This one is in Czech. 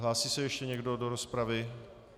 Hlásí se ještě někdo do rozpravy?